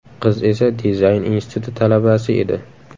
Qiz esa dizayn instituti talabasi edi.